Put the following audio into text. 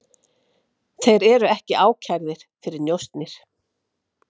Þeir eru ekki ákærðir fyrir njósnir